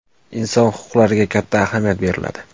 Inson huquqlariga katta ahamiyat beriladi.